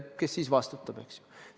Kes siis vastutab?